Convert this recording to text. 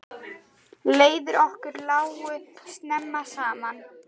Leiðir okkar lágu snemma saman.